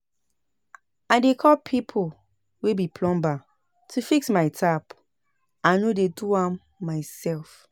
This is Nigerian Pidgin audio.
I dey call pipo wey be plumber to fix my tap, I no dey do am mysef.